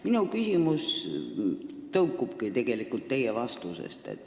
Minu küsimus tõukubki teie vastustest.